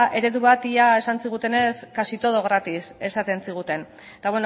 eredu bat esan zigutenez casi todo gratis esaten ziguten eta